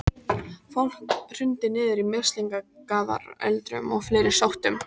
Fólk hrundi niður í mislingafaröldrum og fleiri sóttum.